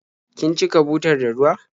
Kin cika butar da ruwa?